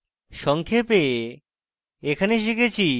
সংক্ষেপে এখানে শিখেছি